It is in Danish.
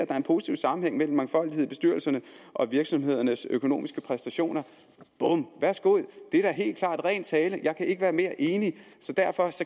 er en positiv sammenhæng mellem mangfoldighed i bestyrelserne og virksomhedernes økonomiske præstationer bum værsgo det er helt klart ren tale jeg kan ikke være mere enig derfor